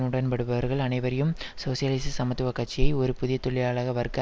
உடன்படுபவர்கள் அனைவரையும் சோசியலிச சமத்துவ கட்சியை ஒரு புதிய தொழிலாள வர்க்க